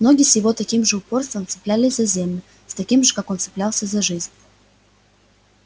ноги с его таким же упорством цеплялись за землю с каким сам он цеплялся за жизнь